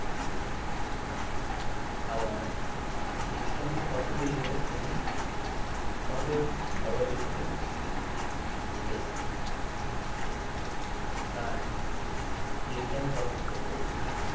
আবার বিজ্ঞানের কথা গুলিও তিনি সহজ সরল ভাবে লিখেছেন তার বিজ্ঞান রহস্য